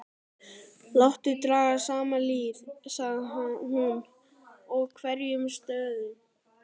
Láttu draga saman lið, sagði hún,-og verjum staðinn.